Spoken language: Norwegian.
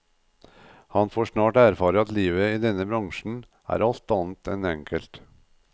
Han får snart erfare at livet i denne bransjen er alt annet enn enkelt.